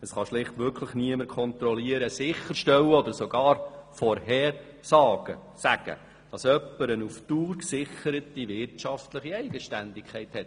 Es kann schlicht wirklich niemand kontrollieren, sicherstellen oder sogar vorhersagen, ob jemand über eine auf Dauer gesicherte wirtschaftliche Eigenständigkeit verfügt.